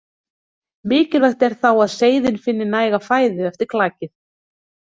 Mikilvægt er þá að seiðin finni næga fæðu eftir klakið.